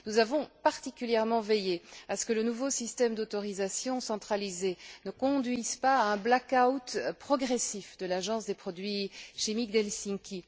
Nous avons particulièrement veillé à ce que le nouveau système d'autorisation centralisée ne conduise pas à un black out progressif de l'Agence des produits chimiques d'Helsinki.